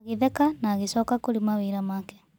Agĩtheka na agĩcoka kurĩ mawĩra make.